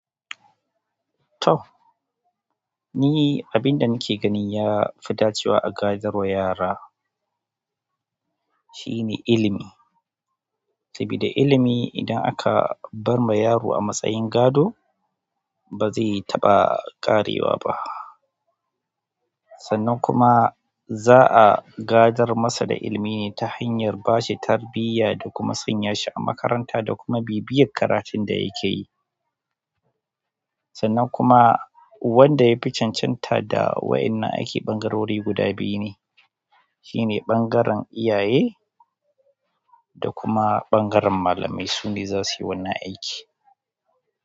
To! Ni abinda nake ganin yafi dacewa a gadarwa yara shine ilimi. Sabida ilimi idan aka barma yaro a matsayin gado ba zai taɓa ƙarewa ba. Sannan kuma za'a gadar masa da ilimi ta hanyar bashi tarbiyya da kuma sanya shi a makaranta da kuma bibiyan karatunda yake yi. Sannan kuma wanda ya fi cancanta da wa'innan aiki ɓangarori guda biyu ne, shine ɓangaren iyaye da kuma ɓangaren malamai. Sune zasu yi wannan aiki.